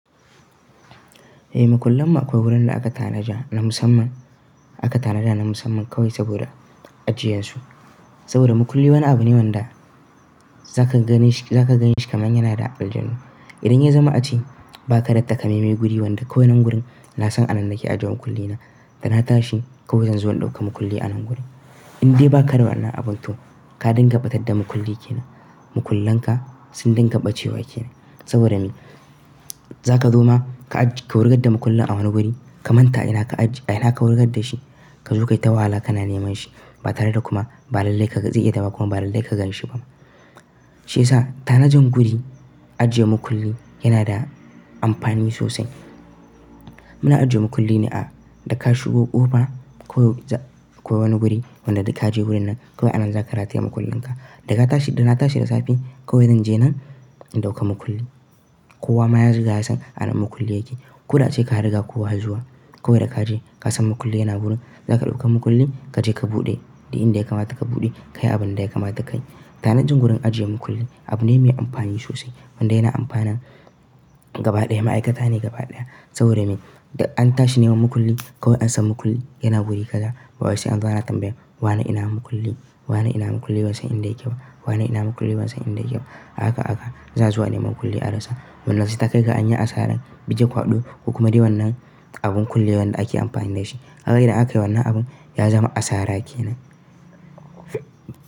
Eh, mukullanmu akwai wurin da aka tanaja na musamman, aka tanada na musamman kawai saboda ajiyansu. Saboda mukulli wani abu ne wanda za ka gani shi, za ka ganshi kamar yana da aljanu. Idan ya zama a ce ba ka da takaameme guri wanda kawai nan gurin na son a nan nake ajiye mukulli na, da na tashi kawai zan zo in ɗauka mukulli a nan guri. Inde ba ka da wannan abun to ka dinga ɓatar da mukulli ke nan, mukullan ka sun dinga ɓace wa ke nan. Saboda me? Za ka zo ma ka ajiye, ka wurgar da mukullin a wani guri, ka manta ina ka ajiye, ina ka wurgar da shi. Ka zo kaita wahala ka na neman shi ba tare da kuma ba lallai ka, zai iya dawowa kuma ba lallai ka ganshi ba ma. Shi yasa tanajen guri ajiye mukulli yana da amfani sosai. Muna ajiye mukulli ne a da ka shigo ƙofa kawai za, kawai wani guri wanda ka je wurin nan kawai anan za ka rataye mukullin ka. Da ka tashi, da na tashi da safe kawai zan je nan in ɗauka mukulli. Kowa ma ya riga ya san a nan mukulli yake. Ku da ace ka riga kowa zuwa kawai da ka je ka san mukulli yana wurin, za ka ɗauka mukulli ka je ka buɗe. Da inda ya kamata ka buɗe ka yi abunda ya kamata ka yi. Tanajin gurin ajiye mukulli abu ne mai amfani sosai. Wanda yana amfana gaba ɗaya ma'aikata ne gaba ɗaya. Saboda me? Da an tashi neman mukulli kawai an san mukulli yana guri kaza. Ba wai sai anzo ana tambayan, wane ina mukulli? Wane ina mukulli? Ban san inda yake ba. Wane ina mukulli bansan, inda yake ba, ahaka ahaka za'a zo a nemi mukulli a rasa. Wanda sai takai ga anyi asaran, bige kwado ku kuma dai wannan abun kullewan da ake amfani dashi. Kaga idan akayi wannan abun yazama asara kenan.